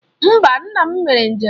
Mba, nna m mere njem.